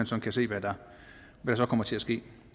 så kan se hvad der kommer til at ske